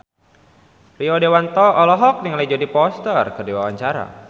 Rio Dewanto olohok ningali Jodie Foster keur diwawancara